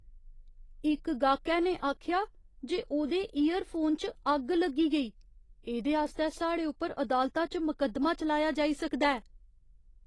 इक गाह्कै ने आखेआ जे ओह्दे ईयरफोन च अग्ग लग्गी गेई। एह्दे आस्तै साढ़े उप्पर अदालता च मकद्दमा चलाया जाई सकदा ऐ।